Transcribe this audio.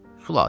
Xülasə.